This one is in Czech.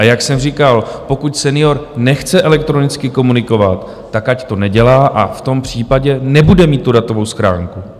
A jak jsem říkal, pokud senior nechce elektronicky komunikovat, tak ať to nedělá, a v tom případě nebude mít tu datovou schránku.